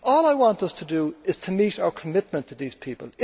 All I want us to do is to meet our commitment to these people.